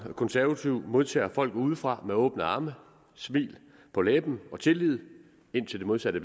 konservative modtager folk udefra med åbne arme smil på læben og tillid indtil det modsatte